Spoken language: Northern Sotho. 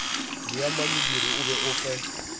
leamanyidiri o be o fe